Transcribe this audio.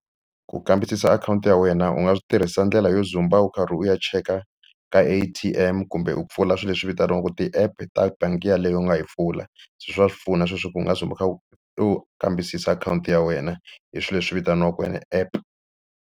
Ku kambisisa akhawunti ya wena u nga swi tirhisa ndlela yo dzumba u karhi u ya cheka ka A_T_M kumbe u pfula swilo leswi vitaniwaka ti-app ta bangi yeleyo u nga yi pfula se swa pfuna sweswo ku u nga dzumba u kha u u kambisisa akhawunti ya wena hi swilo leswi vitaniwaka an app.